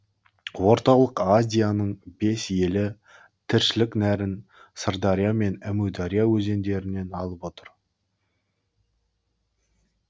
орталық азияның бес елі тіршілік нәрін сырдария мен әмудария өзендерінен алып отыр